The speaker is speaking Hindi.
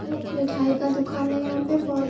ये एक मिठाई का दुकान है यहाँ पे बहोत --